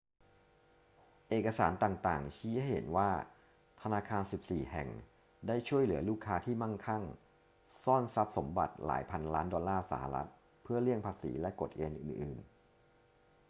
เอกสารต่าง ๆ ชี้ให้เห็นว่าธนาคาร 14 แห่งได้ช่วยเหลือลูกค้าที่มั่งคั่งซ่อนทรัพย์สมบัติหลายพันล้านดอลลาร์สหรัฐฯ เพื่อเลี่ยงภาษีและกฎเกณฑ์อื่น ๆ